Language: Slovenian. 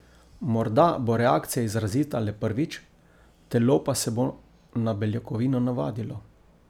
Morda bo reakcija izrazita le prvič, telo pa se bo na beljakovino navadilo.